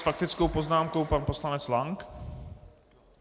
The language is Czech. S faktickou poznámkou pan poslanec Lank.